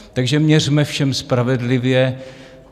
Takže měřme všem spravedlivě.